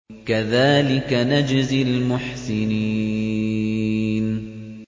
كَذَٰلِكَ نَجْزِي الْمُحْسِنِينَ